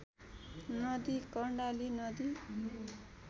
नदी कर्णाली नदी